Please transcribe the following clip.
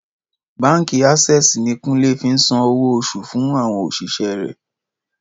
Báǹkì Access ni Kúnlé fi ń san owó oṣù fún àwọn òṣìṣẹ́ rẹ̀